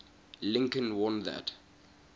lincoln warned that